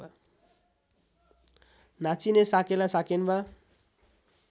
नाचिने साकेला साकेन्वा